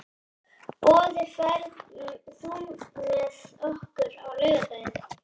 Boði, ferð þú með okkur á laugardaginn?